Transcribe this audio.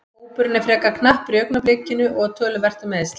Hópurinn er frekar knappur í augnablikinu og töluvert um meiðsl.